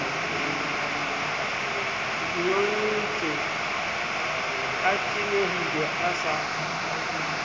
nyontse a tenehile a sa